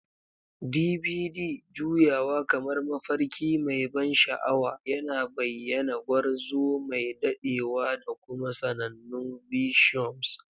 DBD juyawa kamar mafarki mai ban sha'awa, yana bayyana gwarzo mai dadewa da kuma sanannun viciums.